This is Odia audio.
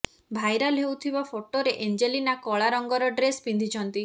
ଭାଇରାଲ ହେଉଥିବା ଫଟୋରେ ଏଞ୍ଜେଲିନା କଳା ରଂଗର ଡ୍ରେସ ପିନ୍ଧିଛନ୍ତି